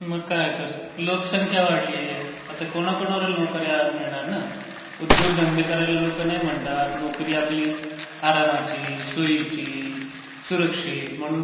मग काय तर. लोकसंख्या वाढलीय. आता कोणाकोणाला नोकर् या मिळणार ना. उद्योगधंदे करायला लोकं नाही म्हणतात. नोकरी आपली आरामची, सोयीची, सुरक्षित.